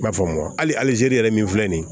I b'a faamu aw zeri yɛrɛ min filɛ nin ye